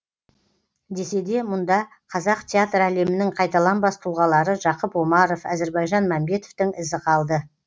десе де мұнда қазақ театр әлемінің қайталанбас тұлғалары жақып омаров әзірбайжан мәмбетовтің ізі қалды